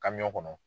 Kabiɲɔgɔn kɔnɔ